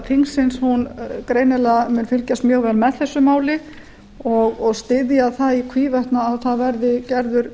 þingsins greinilega mun fylgjast mjög vel með þessu máli og styðja það í hvívetna að það verði gerður